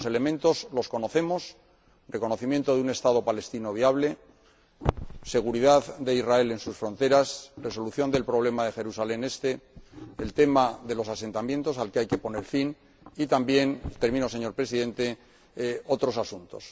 Los elementos los conocemos reconocimiento de un Estado palestino viable, seguridad de Israel en sus fronteras, resolución del problema de Jerusalén Este, el problema de los asentamientos, al que hay que poner fin, y también termino, señor Presidente otros asuntos.